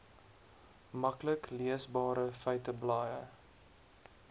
maklik leesbare feiteblaaie